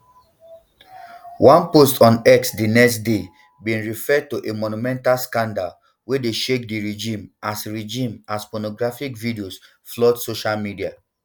one post on x di next daybin refer to a monumental scandal wey dey shake di regime as regime as pornographic videos flood social media